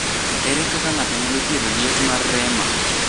Ere kaka ng’ato nyalo thiedho liet mar rema?